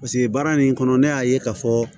Paseke baara nin kɔnɔ ne y'a ye ka fɔ